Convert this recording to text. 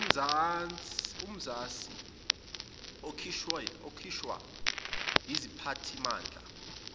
umazisi okhishwa yisiphathimandla